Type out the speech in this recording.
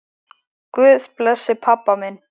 Guð blessi pabba minn.